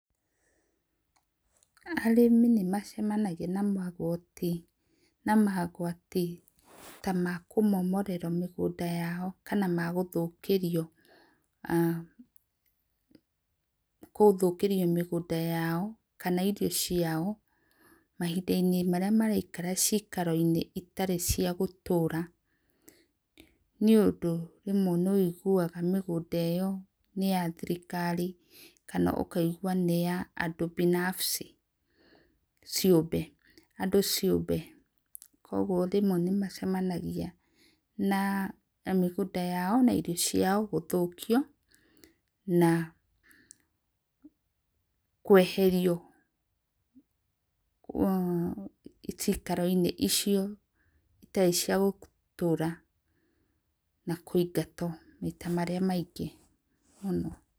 Arĩmi nĩmacemanagia na magoti na mogwati ta makũmomorerwo mĩgũnda yao kana magũthiũkĩrĩo gũthũkũrĩo mĩgũnda yao kana irio ciao mahĩnda inĩ marĩa maraikara cikaro inĩ itarĩ cia gũtũra, ni ũndũ rĩmwe nĩwĩigũaga mĩgũnda iyo nĩ ya thĩrĩkarĩ kana ũkaĩgũa nĩ ya andũ binafsi ciũmbe andũ ciũmbe, kwogwo nĩmagĩcemanagĩa na mĩgũnda yao na irio ciao gũthũkĩo na kũeherĩo ciĩkaro inĩ icio ĩtarĩ cia gũtũra na kũingatwo maita marĩa maingĩ mũno.